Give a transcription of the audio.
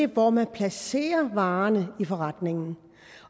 hvor man placerer varerne i forretningen